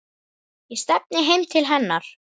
Ég stefni heim til hennar.